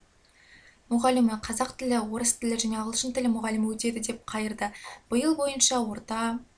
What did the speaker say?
мұғалімі қазақ тілі орыс тілі және ағылшын тілі мұғалімі өтеді деп қайырды биыл бойынша орта